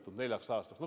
No kust te võtate seda?